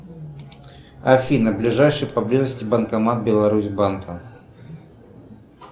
афина ближайший по близости банкомат беларусь банка